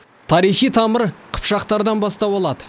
тарихи тамыр қыпшақтардан бастау алады